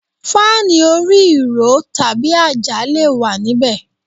Fáànù orí ìró tàbí àjà le wà níbẹ̀.